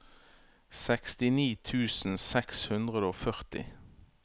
sekstini tusen seks hundre og førti